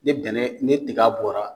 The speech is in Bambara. Ni dɛnɛn ni tiga bɔra